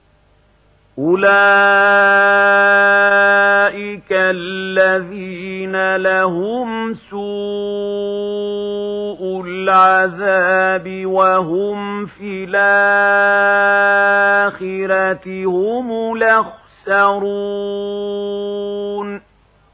أُولَٰئِكَ الَّذِينَ لَهُمْ سُوءُ الْعَذَابِ وَهُمْ فِي الْآخِرَةِ هُمُ الْأَخْسَرُونَ